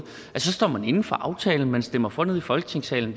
at så står man inde for aftalen og stemmer for nede i folketingssalen